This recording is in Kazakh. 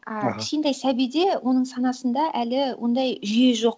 а кішкентай сәбиде оның санасында әлі ондай жүйе жоқ